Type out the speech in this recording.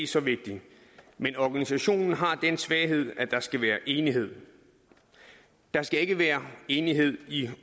så vigtig men organisationen har den svaghed at der skal være enighed der skal ikke være enighed i